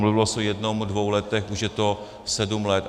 Mluvilo se o jednom dvou letech, už je to sedm let.